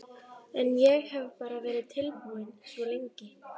En ég hef bara verið tilbúinn svo lengi.